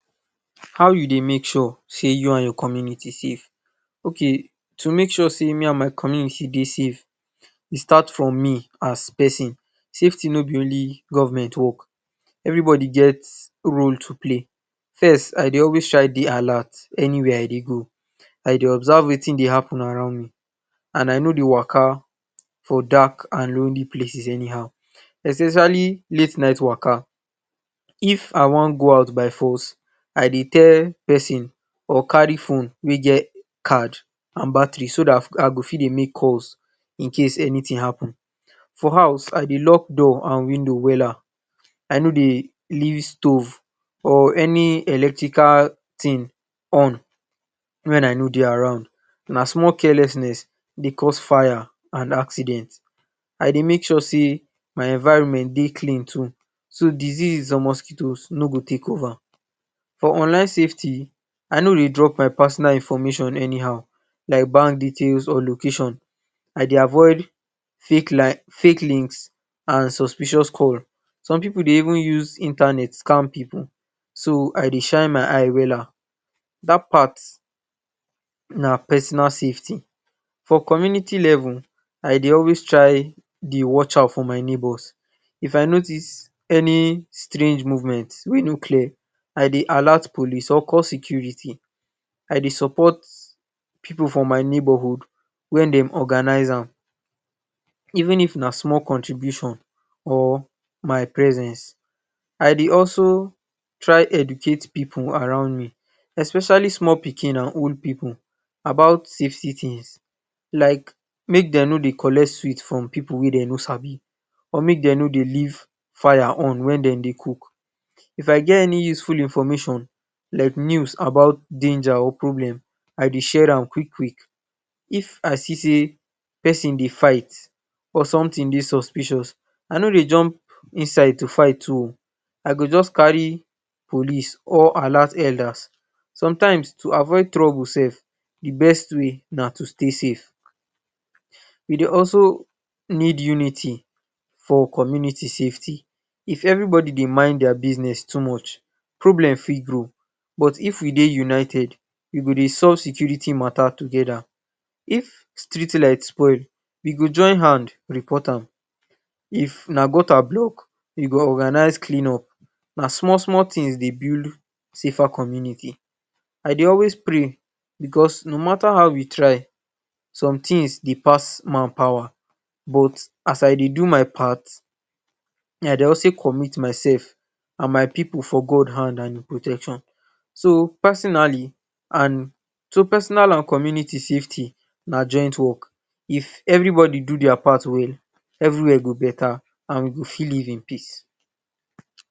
How you dey make sure sey you and your community safe. Okay to make sure sey me and my community dey safe, e start from me as pesin. Safety no be only government work, everybody get role to play. First, I dey always try dey alert anywhere I dey go. I dey observe wetin dey happen around me and I no dey waka for dark and lonely places anyhow, especially late-night waka. If wan go out by force, I dey tell pesin or carry phone wey get card and battery so dat I go fit dey make calls in case any thing happen. For house I dey lock door and window wells. I no dey leave stove or any electrical thing on wen I no dey around. Na small carelessness dey cause fire and accident. I dey make sure sey my environment dey clean too so diseases or mosquitoes no go take over. For online safety I no dey drop my personal information anyhow like bank details or location. I dey avoid fake links and suspicious call. Some pipu dey even use Internet scam pipu, so I dey shine my eye wella. Dat part na personal safety. For community level I dey always try dey watch out for my neighbors. If I notice any strange movement wey no clear I dey alert police or call security. I dey support pipu for my neighborhood wen dem organize. Even if na small contribution or my presence. I dey also try educate pipu around me especially small pikin and old pipu about safety tips like make dem no dey collect sweets from pipu wey dem no sabi or make dem no dey leave fire on wen dem dey cook. If I get any useful information, like news about danger or problem, I dey share am quick-quick. If I see sey pesin dey fight, or something dey suspicious I no dey jump inside to fight o. I go just carry police or alert elders. Sometimes to avoid troubles, dey best way na to stay safe. E dey also need unity for community safety. If everybody dey mind their business too much problem fit grow but if we dey united we go dey solved security mata together. If street light spoil we go join hand report am. If na gutter block, we go organize cleanup. Na small-small things dey build safer communities. I dey always pray because no mata how we try something s dey pass man pawa but as I dey do my part, me I dey also commit myself and my pipu for God hand and im protection. So, personally and, so personal and community safety na joint work. If everybody do their part well everywhere go beta and we go fit live in peace.